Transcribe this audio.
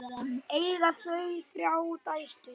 Eiga þau þrjár dætur.